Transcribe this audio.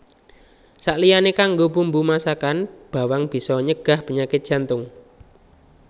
Saliyané kanggo bumbu masakan bawang bisa nyegah panyakit jantung